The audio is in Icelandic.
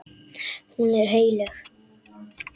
Hún er heilög.